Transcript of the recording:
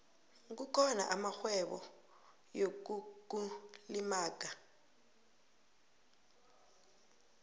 kukhona amarhwebo yokukulimaga